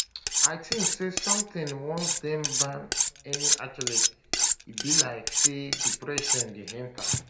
i tink say sometimes once dem ban any athlete e be like say depression dey enta